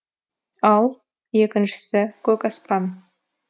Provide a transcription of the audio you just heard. ал екіншісі көк аспан